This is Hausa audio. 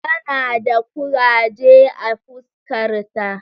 Tana da kuraje a fuskarta.